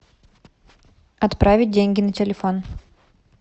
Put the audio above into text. отправить деньги на телефон